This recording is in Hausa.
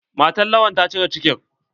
Matan Lawan ta cire ciki.